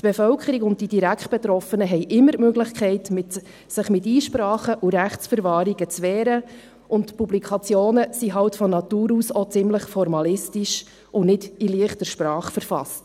Die Bevölkerung und die direkt Betroffenen haben immer die Möglichkeit, sich mit Einsprachen und Rechtsverwahrungen zu wehren, und die Publikationen sind halt von Natur aus auch ziemlich formalistisch und nicht in leichter Sprache verfasst.